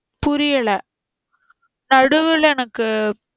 புரியல நடுவுல எனக்கு